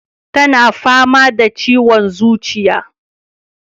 Tana fama da ciwon zuciya